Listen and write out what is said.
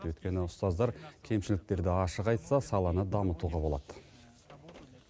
өйткені ұстаздар кемшіліктерді ашық айтса саланы дамытуға болады